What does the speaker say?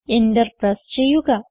enter press ചെയ്യുക